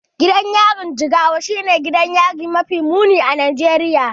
Gidan yarin Jigawa shine gidan yari mafi muni a Najeriya.